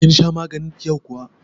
Kin sha maganin ki yau kuwa?